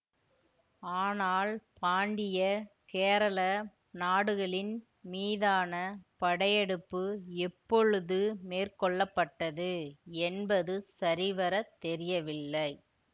ஆனால் பாண்டிய கேரள நாடுகளின் மீதான படையெடுப்பு எப்பொழுது மேற்கொள்ள பட்டது என்பது சரிவரத் தெரியவில்லை